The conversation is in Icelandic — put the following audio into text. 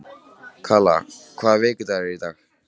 Kalla, hvaða vikudagur er í dag?